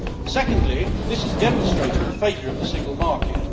Secondly, this is demonstrating a failure of the single market.